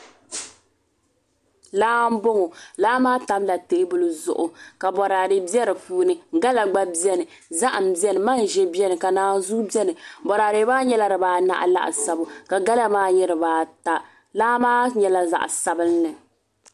Laa n boŋo laa maa tamla teebuli zuɣu ka boraadɛ bɛ di puuni gala gba bɛni zaham bɛni manʒa bɛni ka naanzuu bɛni boraadɛ maa nyɛla dibaanahi laasabu ka gala maa nyɛ dibaata laa maa nyɛla zaɣ sabinli